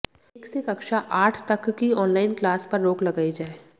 एक से कक्षा आठ तक की ऑन लाइन क्लास पर रोक लगाई जाये